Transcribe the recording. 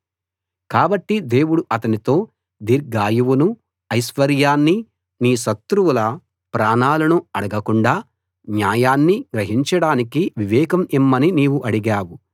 కాబట్టి దేవుడు అతనితో దీర్ఘాయువునూ ఐశ్వర్యాన్నీ నీ శత్రువుల ప్రాణాలనూ అడగకుండా న్యాయాన్ని గ్రహించడానికి వివేకం ఇమ్మని నీవు అడిగావు